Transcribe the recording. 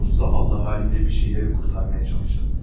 Bu zavallı halımla bir şeyləri xilas etməyə çalışdım.